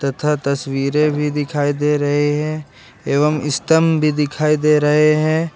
तथा तस्वीरें भी दिखाई दे रहे हैं एवं स्तंभ भी दिखाई दे रहे हैं।